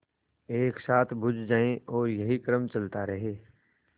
एक साथ बुझ जाएँ और यही क्रम चलता रहे